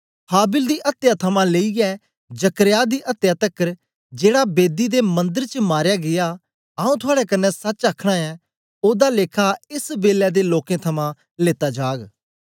हाबिल दी अत्या थमां लेईयै जकर्याह दी अत्या तकर जेड़ा बेदी ते मंदर च मारया गीया आऊँ थआड़े कन्ने सच आखना ऐं ओदा लेखा एस बेलै दे लोकें थमां लेता जाग